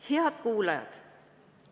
Head kuulajad!